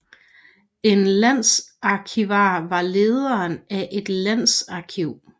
En landsarkivar var lederen af et landsarkiv